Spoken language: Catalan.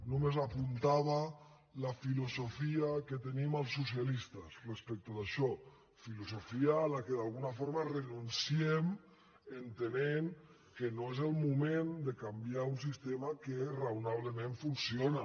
només apuntava la filosofia que tenim els socialistes respecte d’això filosofia a què d’alguna forma renunciem entenem que no és el moment de canviar un sistema que raonablement funciona